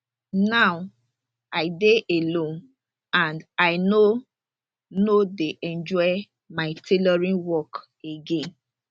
now i dey alone and i no no dey enjoy my tailoring work again